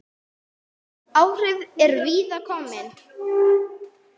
Áhrifin eru víða að komin.